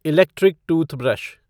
electric toothbrush